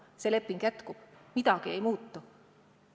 See leping jätkub, midagi ei muutu.